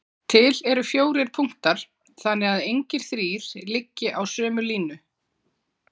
Til eru fjórir punktar þannig að engir þrír liggi á sömu línu.